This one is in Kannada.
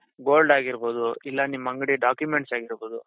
gold ಆಗಿರ್ಬಹುದು ಇಲ್ಲ ನಿಮ್ ಅಂಗಡಿ documents ಆಗಿರ್ಬಹುದು,